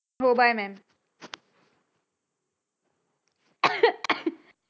हो bye mam